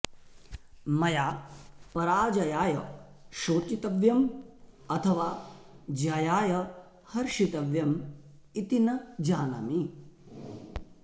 मया पराजयाय शोचितव्यं अथवा जयाय हर्षितव्यम् इति न जानामि